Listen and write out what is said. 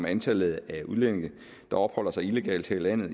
antallet af udlændinge der opholder sig illegalt her i landet